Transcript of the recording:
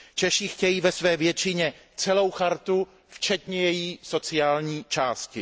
Češi chtějí ve své většině celou Listinu včetně její sociální části.